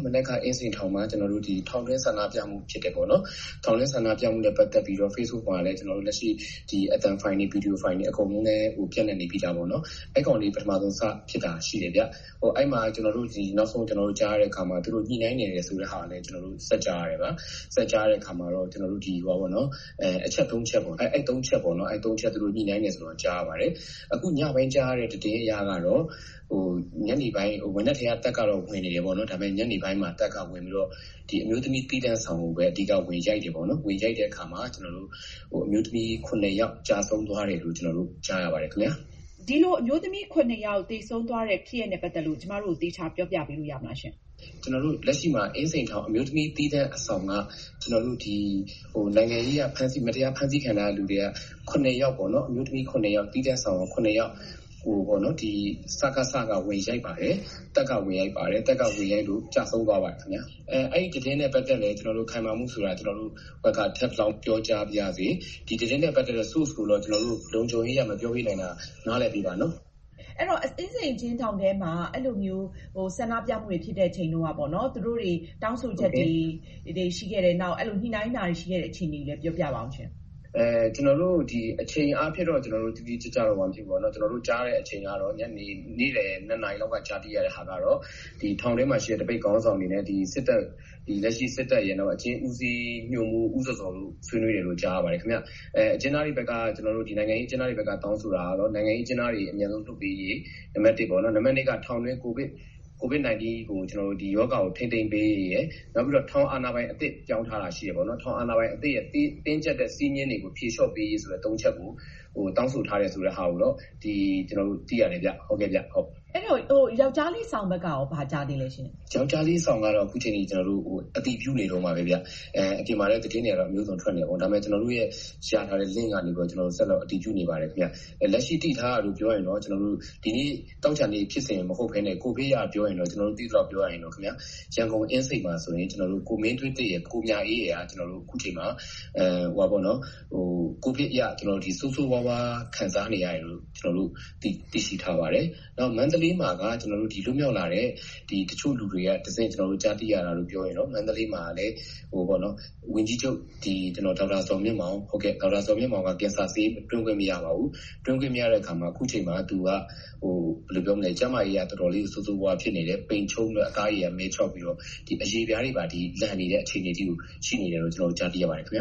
“မနက်က အင်းစိန်ထောင်မှာ ထောင်တွင်းဆန္ဒပြမှုဖြစ်တယ်ပေါ့နော်။ ထောင်တွင်းဆန္ဒပြမှုနဲ့ပတ်သက်ပြီးတော့ Facebook ပေါ်မှာလည်း လက်ရှိ အသံဖိုင်တွေ၊ ဗွီဒီယိုဖိုင်တွေ အကုန်လုံးလည်း ပြန့်နှံ့နေပြီးသားပေါ့နော်။ အဲဒါလေး ပထမဆုံး စဖြစ်တာရှိတယ်ဗျ။အဲဒီမှာ ကျနော်တို့ နောက်ဆုံးကြားရတဲ့ဟာက သူတို့ ညှိနှိုင်းနေတယ်ဆိုတဲ့ဟာလည်း ကျနော်တို့ ဆက်ကြားရတယ်ဗျာ။ ဆက်ကြားရတဲ့အခါမှာတော့ ကျနော်တို့ ဒီ အချက် ချက်ပေါ့နော်၊ ညှိနှိုင်းတယ်လို့ ကျနော်တို့ ကြားရပါတယ်။ အခု ညပိုင်းကြားရတဲ့ သတင်းအရကတော့ - မနက်ကတည်းက တပ်ကတော့ ဝင်နေတယ်ပေါ့နော်။ ဒါပေမယ့် ညနေပိုင်းမှာ တပ်ကဝင်ပြီးတော့ ဒီ အမျိုးသမီး သီးသန့်ဆောင်ကိုဘဲ အဓိက ဝင်ရိုက်တယ်ပေါ့နော်။ ဝင်ရိုက်တဲ့အခါမှာ အမျိုးသမီး ယောက် ကျဆုံးသွားတယ်လို့ ကျနော်တို့ ကြားရပါတယ် ခင်ဗျား။” ဒီလို အမျိုးသမီး သေဆုံးသွားတဲ့ဖြစ်ရပ်နဲ့ပတ်သက်လို့ ကျမတို့ကို သေချာ ပြောပြပေးလို့ရမလားရှင်။ “လက်ရှိမှာ အင်းစိန်မှာ အမျိုးသမီးသီးသန့်အဆောင်က အခု ဒီ နိုင်ငံရေးအရ မတရားဖမ်းဆီးခံထားရတဲ့လူထဲက ယောက်ပေါ့နော်၊ သီးသန့်ဆောင်ကို ယောက်ကို စကစ က ဝင်ရိုက်ပါတယ်။ တပ်က ဝင်ရိုက်ပါတယ်။ တပ်ကဝင်ရိုက်လို့ ကျဆုံးသွားပါတယ် ခင်ဗျ။ အဲဒီ သတင်းနဲ့ပတ်သက်လို့လည်း ခိုင်မာမှုရှိတယ်ဆိုတာ ကျနော်တို့ ထပ်လောင်း ပြောကြားပါရစေ။ ဒီသတင်းနဲ့ပတ်သက်တဲ့ Source ကိုတော့ လုံခြုံရေးအရ မပြောပေးနိုင်တာ နားလည်ပေးပါနော်။” အဲဒီတော့ အင်းစိန်အကျဉ်းထောင်ထဲမှာ အဲဒီလိုမျိုး ဆန္ဒပြမှုတွေဖြစ်တဲ့အချိန်တုန်းကပေါ့နော်၊ သူတို့တွေ တောင်းဆိုချက်တွေ ရှိခဲ့တယ်၊ ညှိနှိုင်းတာတွေ ရှိခဲ့တဲ့အခြေအနေတွေကိုလည်း ပြောပြပါဦး။ “အချိန်အားဖြင့်တော့ ကျနော်တို့ တိတိကျကျ မသိဘူးပေါ့နော်။ ကျနော်တို့ကြားရတဲ့အချိန်ကတော့၊ နေ့လည် ၂ နာရီလောက်က ကြားသိရတဲ့ဟာကတော့ ဒီ ထောင်ထဲမှာရှိတဲ့ သပိတ်ခေါင်းဆောင်တွေနဲ့ လက်ရှိ စစ်တပ်ရပ်၊ နောက် အကျဉ်းဦးစီးညွှန်မှူး ဦးဇော်ဇော်တို့ဆွေးနွေးတယ်လို့ ကြားရပါတယ် ခင်ဗျ။ နိုင်ငံရေးအကျဉ်းသားတွေဘက်က တောင်းဆိုတာကတော့ နိုင်ငံရေးအကျဉ်းသားတွေ အမြန်ဆုံးလွတ်ပေးရေး၊ နံပတ် ပေါ့နော်။ နံပတ် က ထောင်တွင်း ကိုဗစ်-၁၉ ရောဂါကို ထိန်းသိမ်းပေးရေးရယ်၊ နောက်ပြီးတော့ ထောင်အာဏာပိုင်အသစ် ပြောင်းထားတာ ရှိတယ်ပေါ့နော်၊ ထောင်အာဏာပိုင်အသစ်ရဲ့ တင်းကြပ်တဲ့ စည်းမျဉ်းတွေကို ဖြေလျော့ပေးရေးဆိုတဲ့ ချက်ကိုတောင်းဆိုထားတယ် ဆိုတဲ့ဟာကိုတော့ ကျနော်တို့ သိရတယ်ဗျ။” အဲဒီတော့ ယောက်ျားလေးဆောင်ဘက်ကရော ဘာကြားသေးလဲရှင့်။ “ယောက်ျားလေးဆောင်ကတော့ အခုချိန်ထိ ကျနော်တို့ အတည်ပြုနေတုန်းပါဘဲဗျ။ အပြင်မှာလည်း သတင်းတွေကတော့ အမျိုးစုံ ထွက်နေတာပေါ့။ ဒါပေမယ့် ကျနော်တို့ရထားတဲ့ Link ကနေပြီးတော့ ကျနော်တို့ ဆက်လက် အတည်ပြုနေပါတယ် ခင်ဗျ။ လက်ရှိ သိထားတာကို ကျနော်တို့ပြောရရင်တော့ - ဒီနေ့ သောကြာနေ့ဖြစ်စဉ်မဟုတ်ဘဲနဲ့ ကိုဗစ်နဲ့ပတ်သက်လို့ ကျနော်တို့ သိရသလောက်ပြောရရင်တော့ ရန်ကုန် အင်းစိန် မှာဆိုရင် ကိုမင်းသွေးသစ်ရယ်၊ ကိုမြအေးရယ်က အခုချိန်မှာ ကိုဗစ်အရ ဆိုးဆိုးရွားရွား ခံစားနေရတယ်လို့ ကျနော်တို့ သိရှိထားပါတယ်။ နောက် မန္တလေးမှာက လွတ်မြောက်လာတဲ့ တချို့လူတွေကတဆင့် ကျနော်တို့ ကြားသိရတာလို့ ကျနော်တို့ ပြောရရင်တော့ - မန္တလေးမှာကလည်း ဝန်ကြီးချုပ် ဒေါက်တာ ဇော်မြင့်မောင်ဟာ ကင်ဆာဆေး သွင်းခွင့် မရပါဘူး။ သွင်းခွင့်မရတဲ့အခါမှာ အခုချိန်မှာ သူက ကျန်းမာရေးအရ တော်တော်လေးကို ဆိုးဆိုးရွားရွား ဖြစ်နေတယ်။ ပိန်ခြုံးပြီးတော့ အသားအရေက မဲခြောက်ပြီးတော့ အရေပြားတွေပါ လှန်နေတဲ့အထိကို ရှိနေတယ်လို့ ကျနော်တို့ ကြားသိရပါတယ် ခင်ဗျ